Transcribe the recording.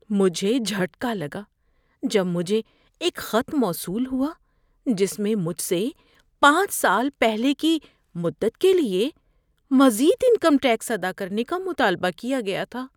مجھے جھٹکا لگا جب مجھے ایک خط موصول ہوا جس میں مجھ سے پانچ سال پہلے کی مدت کے لیے مزید انکم ٹیکس ادا کرنے کا مطالبہ کیا گیا تھا۔